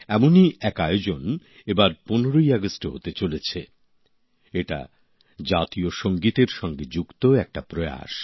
এমনই এক আয়োজন এবার ১৫ই আগস্টে হতে চলেছে এটা জাতীয় সঙ্গীতের সঙ্গে যুক্ত একটা প্রয়াস